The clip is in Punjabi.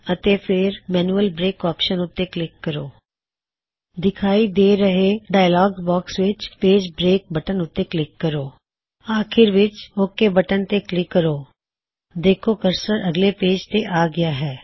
ਅਤੇ ਫੇਰ ਮੈਨਯੁਅਲ ਬਰੇਕ ਆਪਸ਼ਨ ਉਤੇ ਕਲਿਕ ਕਰੋ ਦਿਖਾਈ ਦੇ ਰਹੇ ਡਾਇਅਲੌਗ ਬਾਕਸ ਵਿੱਚ ਪੇਜ ਬਰੇਕ ਬਟਨ ਉੱਤੇ ਕਲਿੱਕ ਕਰੋ ਅਤੇ ਅਖੀਰ ਵਿੱਚ ਓਕ ਬਟਨ ਉੱਤੇ ਕਲਿੱਕ ਕਰੋ ਵੇੱਖੋ ਕਰਸਰ ਅਗਲੇ ਪੇਜ ਤੇ ਆ ਗਇਆ ਹੈ